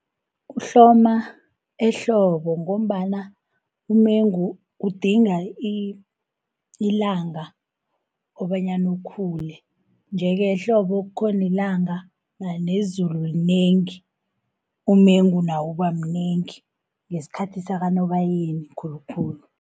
Uhloma ehlobo, ngombana umengu udinga ilanga kobanyana ukhule. Iye-ke ehlobo kukhona ilanga, nezulu linengi umengu nawo uba mnengi ngesikhathi sakaNobayeni khulukhulu.